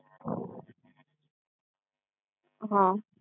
હા